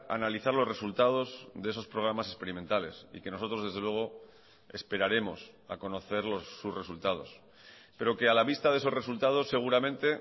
analizar los resultados de esos programas experimentales y que nosotros desde luego esperaremos a conocer sus resultados pero que a la vista de esos resultados seguramente